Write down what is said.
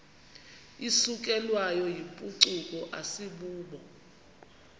isukelwayo yimpucuko asibubo